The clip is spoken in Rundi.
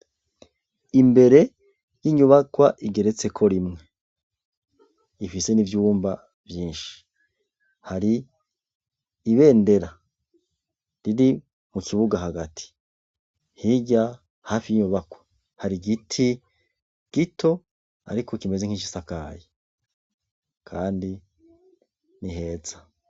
Imbere y’inyubakwa igeretseko rimye, ifise n'ivyumba vyinshi, hari ibendera riri mu kibuga hagati. Hirya hafi y’inyubakwa hari igiti gito ariko kimeze nk’igisakaye, kandi ni heza.